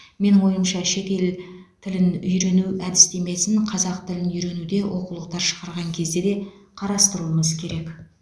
менің ойымша шетел тілін үйрену әдістемесін қазақ тілін үйренуде оқулықтар шығарған кезде де қарастыруымыз керек